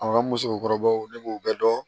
A musokɔrɔbaw ne b'o bɛɛ dɔn